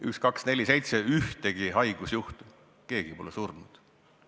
... 1247 ühtegi haigusjuhtu, keegi pole surnud.